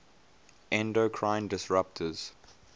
endocrine disruptors